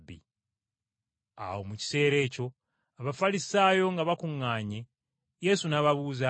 Awo mu kiseera ekyo Abafalisaayo nga bakuŋŋaanye, Yesu n’ababuuza nti,